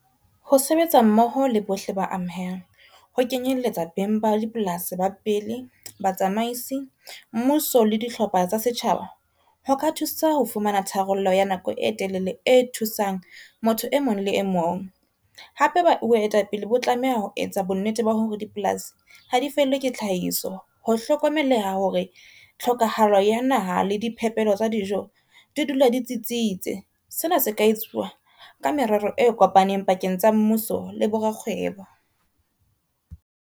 Ho sebetsa mmoho le bohle ba amehang ho kenyelletsa beng ba dipolasi ba pele, batsamaisi, mmuso le dihlopha tsa setjhaba ho ka thusa ho fumana tharollo ya nako e telele e thusang motho e mong le e mong. Hape boetapele bo tlameha ho etsa bonnete ba hore dipolasi ha di fellwe ke tlhahiso. Ho hlokomeleha hore tlhokahalo ya naha le diphepelo tsa dijo di dula di tsitsitse. Sena se ka etsuwa ka merero e kopaneng pakeng tsa mmuso le bo rakgwebo.